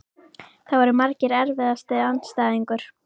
Það voru margir Erfiðasti andstæðingur?